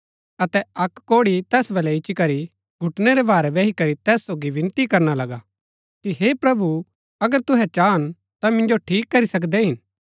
अतै अक्क कोढ़ी तैस बलै इच्ची करी घुटनै रै भारै बैही करी तैस सोगी बिनती करना लगा कि हे प्रभु अगर तूहै चाहन ता मिन्जो ठीक करी सकदै हिन